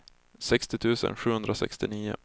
sextio tusen sjuhundrasextionio